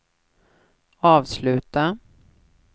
avsluta